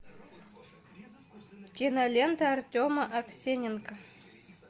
кинолента артема аксененко